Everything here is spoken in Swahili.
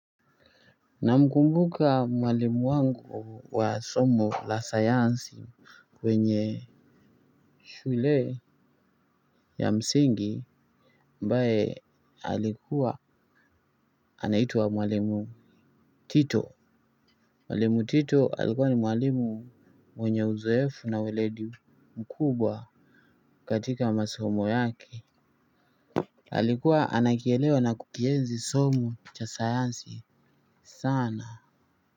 Namkumbuka mwalimu wangu wa somo la sayansi kwenye shule ya msingi ambae alikuwa anaitwa mwalimu tito mwalimu tito alikua ni mwalimu mwenye uzoefu na weledi mkubwa katika masomo yake alikuwa anakielewa na kukiweza somo cha sayansi sana.